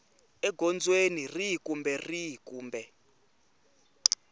egondzweni rihi kumbe rihi kumbe